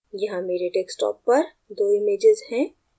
यहाँ here desktop पर 2 images हैं